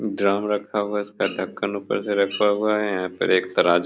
drum रखा हुआ है उसका ढक्कन ऊपर से रखा हुआ है यहाँ पर एक तराजु --